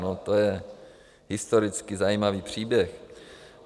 No to je historicky zajímavý příběh.